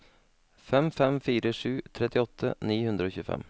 fem fem fire sju trettiåtte ni hundre og tjuefem